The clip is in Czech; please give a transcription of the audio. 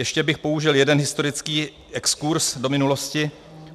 Ještě bych použil jeden historický exkurz do minulosti.